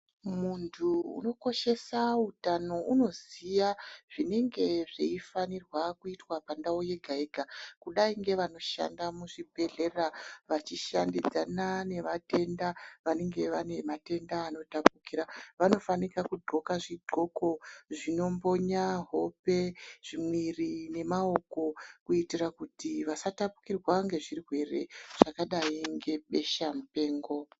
Muntu unokoshesa utano unoziya zvinenge zveifanirwa kuitwa pandau yega yega kudai ngevanoshanda muzvibhehlera vachishandidzana nevatenda vanenge vane matenda anotapukira vanofanika kundhloka zvidhloko zvinobhonya hope, mwiri nemaoko kuitira kuti vasatapukirwa ngezvirwere zvakadai ngebesha mupengo.